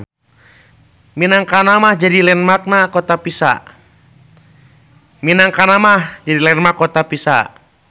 Minangkana mah jadi landmark na kota Pisa.